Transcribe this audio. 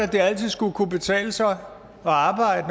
det altid skulle kunne betale sig